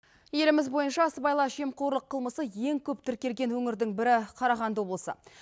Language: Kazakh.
еліміз бойынша сыбайлас жемқорлық қылмысы ең көп тіркелген өңірді бірі қарағанды облысы